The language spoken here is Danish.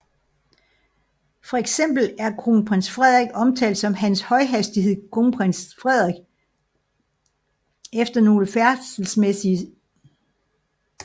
Fx er kronprins Frederik omtalt som Hans Højhastighed Kromprins Fredehik efter nogle færdselsmæssige episoder